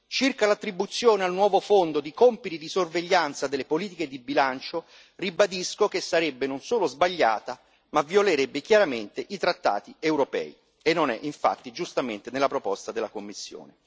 Circa l'attribuzione al nuovo fondo di compiti di sorveglianza delle politiche di bilancio, ribadisco che sarebbe non solo sbagliata, ma violerebbe chiaramente i trattati europei, e non è infatti, giustamente, nella proposta della Commissione.